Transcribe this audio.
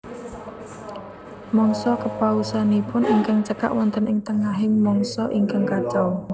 Mangsa kepausanipun ingkang cekak wonten ing tengahing mangsa ingkang kacau